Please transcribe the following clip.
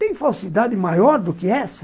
Tem falsidade maior do que essa?